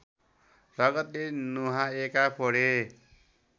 रगतले नुहाएका पोडे